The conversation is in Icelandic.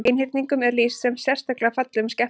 Einhyrningum er lýst sem sérstaklega fallegum skepnum.